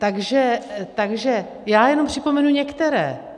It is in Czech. Takže já jenom připomenu některé.